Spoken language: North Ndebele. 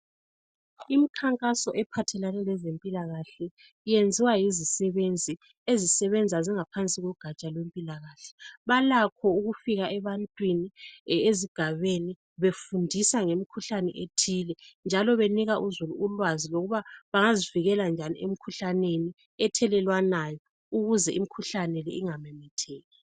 Imikhankaso ephathelane lezempilakahle iyenziwa yizisebenzi ezisebenza zingaphansi kogatsha lwempilakahle balakho ukufika ebantwini ezigabeni befundisa ngemikhuhlane ethile njalo benika uzulu ulwazi lokuba bengazivikela njani emikhuhlaneni ethelelwanayo ukuze imikhuhlane ingamemetheki.